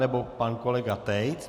Nebo pan kolega Tejc?